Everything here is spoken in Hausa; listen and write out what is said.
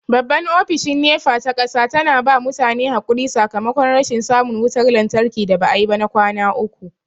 Babban Ofishin NEPA ta ƙasa tana ba mutane haƙuri sakomakon rashin samun wutar lantarki da ba'a yi ba na kwana uku.